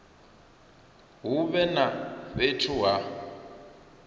hu vhe na fhethu ha